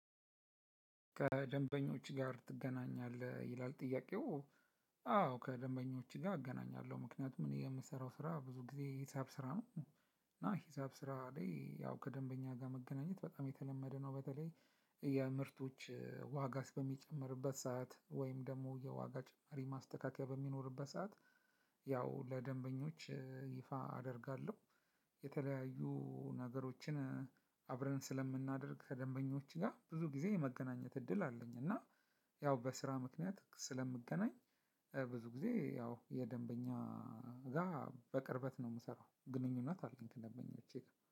ከደንበኞች ጋር ትገናኛለህ ይላል ጥያቄው። አዎ ከደንበኞች ጋ እገናኛለሁ ምክንያቱም የምሰራው ስራ ብዙ ጊዜ ሂሳብ ስራ ነው። እና ሂሳብ ስራ ላይ ያው ከደንበኛ ጋ መገናኘት በጣም የተለመደ ነው። በተለይ የምርቶች ዋጋስ በሚጨምርበት ሰዓት ወይም ደሞ የዋጋ ጭማሪ ማስተካከያ በሚኖርበት ሰዓት። ያው ለደንበኞች ይፋ አደርጋለሁ። የተለያዩ ነገሮችን አብረን ስለምናደርግ ከደንበኞች ጋር ብዙ ጊዜ የመገናኘት እድል አለኝ። እና ያው በስራ ምክንያት ስለምገናኝ። ብዙ ጊዜ ያው የደንበኛ ጋ በቅርበት ነው እምሰራው ግንኙነት አለኝ ከደንበኞቼጋ